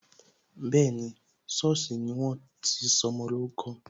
Bẹẹni, sọ́ọ̀sì ni wọ́n ti sọmọ lórúkọ